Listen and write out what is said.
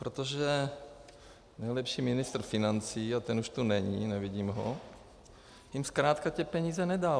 Protože nejlepší ministr financí, a ten už tu není, nevidím ho, jim zkrátka ty peníze nedal.